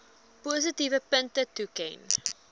positiewe punte toeken